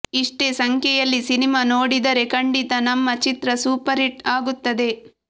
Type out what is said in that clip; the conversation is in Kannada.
ಇಷ್ಟೇ ಸಂಖ್ಯೆಯಲ್ಲಿ ಸಿನಿಮಾ ನೋಡಿದರೆ ಖಂಡಿತ ನಮ್ಮ ಚಿತ್ರ ಸೂಪರ್ ಹಿಟ್ ಆಗುತ್ತದೆ